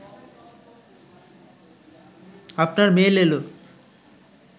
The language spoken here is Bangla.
আপনার মেইল এল